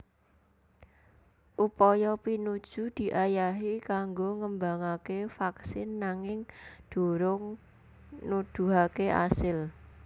Upaya pinuju diayahi kanggo ngembangaké vaksin nanging durung nuduhaké asil